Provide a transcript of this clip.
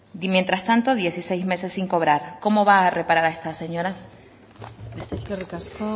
y mientras tanto dieciséis meses sin cobrar cómo va a reparar a esta señora eskerrik asko